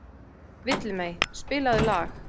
Villimey, spilaðu lag.